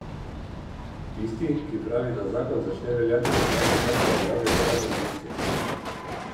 Tisti, ki pravi, da zakon začne veljati petnajsti dan po objavi v uradnem listu.